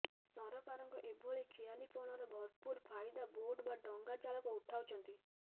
ସରକାରଙ୍କ ଏଭଳି ଖିଆଲିପଣର ଭରପୁର ଫାଇଦା ବୋଟ୍ ବା ଡଙ୍ଗା ଚାଳକ ଉଠାଉଛନ୍ତି